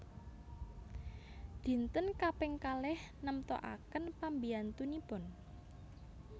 Dinten kaping kalih nemtoaken pambiyantunipun